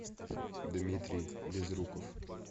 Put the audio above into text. дмитрий безруков